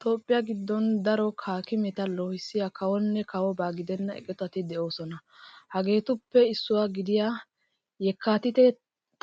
Toophphiya giddon daro haakimeta loohissiya kawonne kawoba gidenna eqotati de'oosona. Ha eqotatuppe issuwa gidida yekkaatiite